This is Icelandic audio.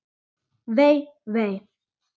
Vei, vei.